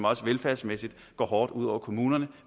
også velfærdsmæssigt går hårdt ud over kommunerne